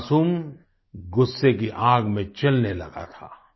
वह मासूम गुस्से की आग में जलने लगा था